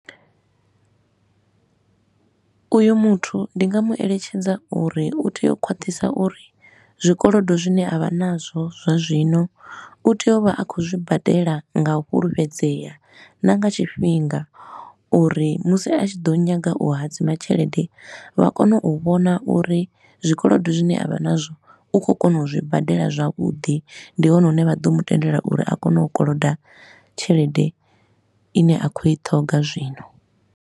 Uyo muthu ndi nga mu eletshedza uri u tea u khwaṱhisa uri zwikolodo zwine a vha nazwo zwa zwino u tea u vha a khou zwibadela nga u fhulufhedzea na nga tshifhinga, uri musi a tshi ḓo nyaga u hadzima tshelede vha kone u vhona uri zwikolodo zwine a vha nazwo u khou kona u zwi badela zwavhuḓi ndi hone hune vha ḓo mu tendelwa uri a kone u koloda tshelede i ne a khou i ṱhoga zwino.